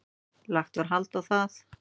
Lagt var hald á það.